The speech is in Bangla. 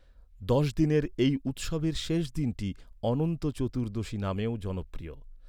দশ দিনের এই উৎসবের শেষ দিনটি ‘অনন্ত চতুর্দশী’ নামেও জনপ্রিয়।